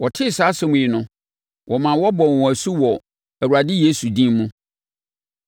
Wɔtee saa asɛm yi no, wɔmaa wɔbɔɔ wɔn asu wɔ Awurade Yesu din mu.